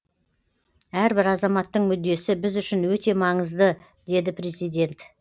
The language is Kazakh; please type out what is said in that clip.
әрбір азаматтың мүддесі біз үшін өте маңызды деді президент